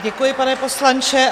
Děkuji, pane poslanče.